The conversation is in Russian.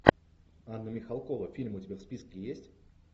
анна михалкова фильмы у тебя в списке есть